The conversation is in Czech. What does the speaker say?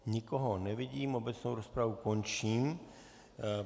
Nikoho nevidím, obecnou rozpravu končím.